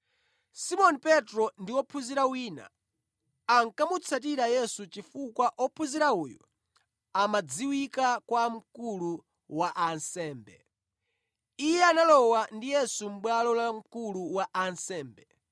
Simoni Petro ndi ophunzira wina ankamutsatira Yesu chifukwa ophunzira uyu amadziwika kwa mkulu wa ansembe. Iye analowa ndi Yesu mʼbwalo la mkulu wa ansembe